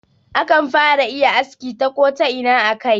Akan fara iya aski ta Kota'ina a kai